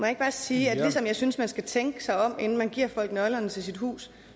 ikke bare sige at ligesom jeg synes man skal tænke sig om inden man giver folk nøglerne til sit hus